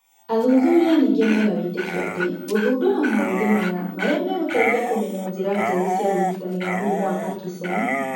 Athuthuria ningĩ mena wĩtĩkio atĩ gũthundũra maũthĩ maya marĩa megũteithia kũmenya njĩra njerũ cia ũrigitani wa mũrimũ wa Parkison